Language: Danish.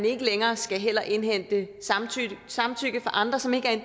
ikke længere skal indhente samtykke fra andre som ikke